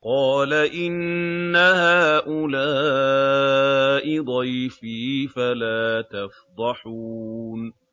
قَالَ إِنَّ هَٰؤُلَاءِ ضَيْفِي فَلَا تَفْضَحُونِ